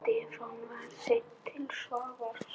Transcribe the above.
Stefán var seinn til svars.